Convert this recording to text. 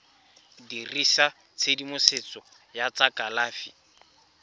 dirisa tshedimosetso ya tsa kalafi